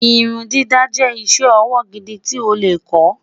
irun dídá jé iṣẹ ọwọ gidi tí o lẹ kò